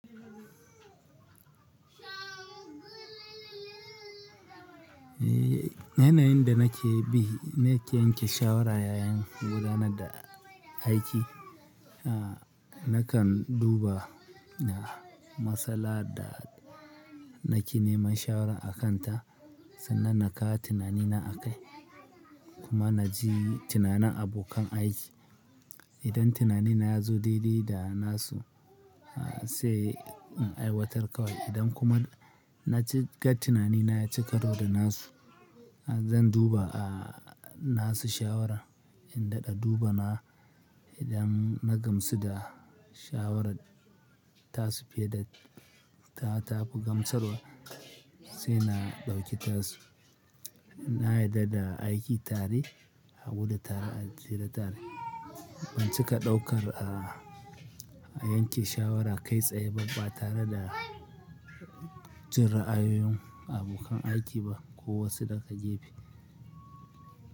Eh, yanayin da nake bi, na ke yanke shawara yayin gudanar da aiki. A, nakan duba na, matsala da nake neman shawara a kanta sannan na kawo tunanina a kai kuma na ji tunanin abokan aiki. Idan tunanina ya zo daii dai da nasu, a sai in aiwatar kawai. Idan kuma na ci ga tunanina ya cika ru da nasu, zan duba a nasu shawara. In daɗa duba na, idan na gamsu da shawarar tasu fiye da ta ta fi gamsarwa, sai na ɗauki tasu. In na yarda da aiki tare, a guda tare a tsira tare. Ban cika ɗaukar a, a yanke shawara kai tsaye babba tare da, jin ra'ayoyin abokan aiki ba kowace da ka je fi.